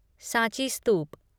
Sanchi स्तूप